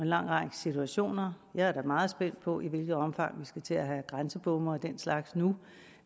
lang række situationer jeg er da meget spændt på i hvilket omfang vi skal til at have grænsebomme og den slags nu